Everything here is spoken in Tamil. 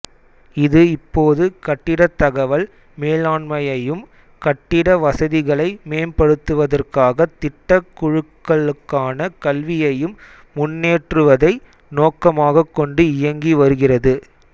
இது இப்போது கட்டிடத் தகவல் மேலாண்மையையும் கட்டிட வசதிகளை மேம்படுத்துவதற்காகத் திட்டக் குழுக்களுக்கான கல்வியையும் முன்னேற்றுவதை நோக்கமாகக்கொண்டு இயங்கி வருகிறது